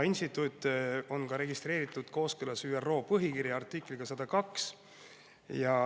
Instituut on registreeritud kooskõlas ÜRO põhikirja artikliga 102.